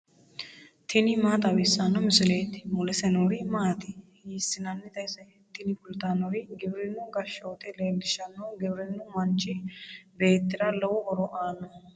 tini maa xawissanno misileeti ? mulese noori maati ? hiissinannite ise ? tini kultannori giwirinnu gashshoote leellishanno giwirinnu manchi beettira lowo horo aannoho.